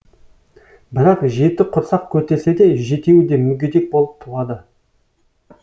бірақ жеті құрсақ көтерсе де жетеуі де мүгедек болып туады